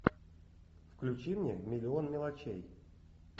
включи мне миллион мелочей